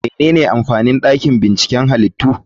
Menene amfanin dakin binciken halittu?